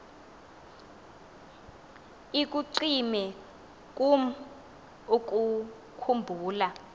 ikucime kum ukukhumbula